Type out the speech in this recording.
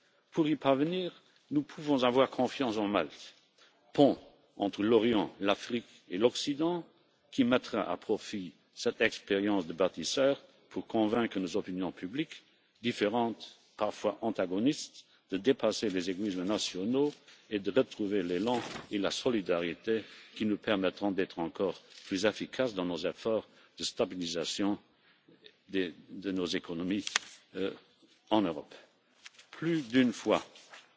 Pour y parvenir, nous pouvons avoir confiance en Malte, pont entre l'Orient, l'Afrique et l'Occident, qui mettra à profit cette expérience de bâtisseur pour convaincre nos opinions publiques différentes, parfois antagonistes, de dépasser les égoïsmes nationaux et de retrouver l'élan et la solidarité qui nous permettront d'être encore plus efficaces dans nos efforts de stabilisation de nos économies en Europe. Plus d'une fois, au cours des dernières années, j'ai regretté que la solidarité ne fut pas toujours un réflexe spontané et je déplore que, pour la première fois dans l'histoire européenne, certains